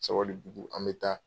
Sabali Bugu an bɛ taa